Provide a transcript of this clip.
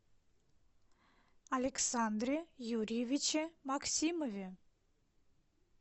александре юрьевиче максимове